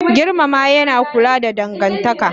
Girmama yana kula da dangantaka